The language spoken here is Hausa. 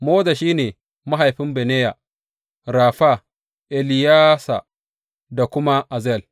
Moza shi ne mahaifin Bineya; Rafa, Eleyasa da kuma Azel.